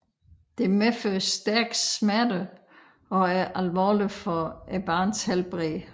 Det medfører stærke smerter og er alvorligt for barnets helbred